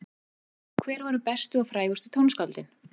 Og hver voru bestu og frægustu tónskáldin?